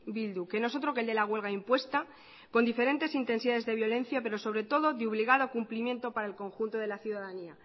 bildu que no es otro que el de la huelga impuesta con diferentes intensidades de violencia pero sobre todo de obligado cumplimiento para el conjunto de la ciudadanía